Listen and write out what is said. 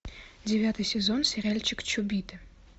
девятый сезон сериальчик чобиты